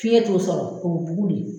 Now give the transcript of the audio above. Piyɛn t'o sɔrɔ o bɛ bugun